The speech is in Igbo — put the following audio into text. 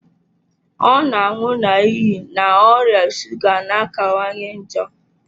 Ọ na-anwụ n'ihi, na ọrịa shuga na-akawanye njọ.